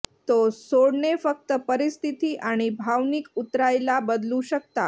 तो सोडणे फक्त परिस्थिती आणि भावनिक उतरायला बदलू शकता